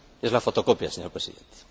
Es la fotocopia, señor Presidente.